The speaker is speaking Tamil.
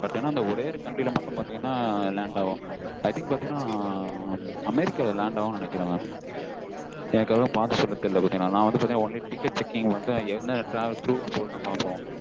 but ஏன்னா வந்து ஒரே ஒரு country ல மட்டும land ஆகும் i think பாத்தீங்கன அமெரிக்கால land ஆகும் நெனைக்கிறென் mam எனக்கு அவ்வளவா பார்த்து சொல்ல தெரியல நான் வந்து பாத்தீங்கணா only ticket checking வந்து எந்த travels க்கு மட்டும் தான் பாப்பொம்